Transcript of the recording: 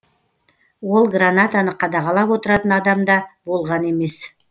ол гранатаны қадағалап отыратын адам да болған емес